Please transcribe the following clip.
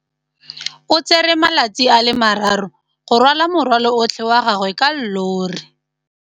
O tsere malatsi a le marraro go rwala morwalo otlhe wa gagwe ka llori.